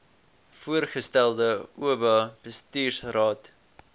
voorgestelde oba bestuursraad